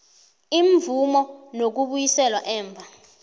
imvumo nokubuyiselwa emva